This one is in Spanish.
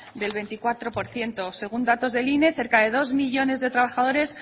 del veinticuatro por ciento según datos del ine cerca de dos millónes de trabajadores